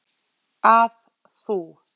að þú.